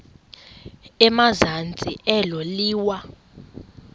emazantsi elo liwa